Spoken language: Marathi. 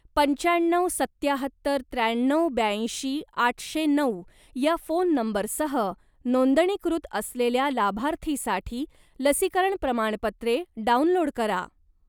पंच्याण्णव सत्याहत्तर त्र्याण्णव ब्याऐंशी आठशे नऊ या फोन नंबरसह नोंदणीकृत असलेल्या लाभार्थीसाठी लसीकरण प्रमाणपत्रे डाउनलोड करा.